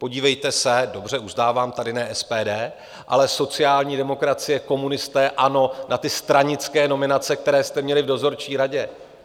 Podívejte se - dobře, uznávám, tady ne SPD, ale sociální demokracie, komunisté, ANO - na ty stranické nominace, které jste měli v dozorčí radě.